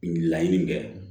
Laɲini kɛ